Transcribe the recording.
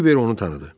Kiber onu tanıdı.